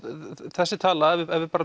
þessi tala ef ef við